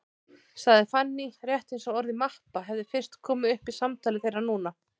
sagði Fanný, rétt eins og orðið mappa hefði fyrst komið upp í samtali þeirra núna.